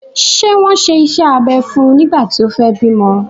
Ṣé wọ́n ṣe iṣẹ́ abẹ fún nígbà tí o fẹ bímọ?